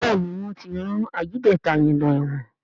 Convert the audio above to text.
Béèni wón tí ran Ajídétà yén ló èwòn.